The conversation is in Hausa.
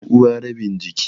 Ɗanuwa rabin jiki.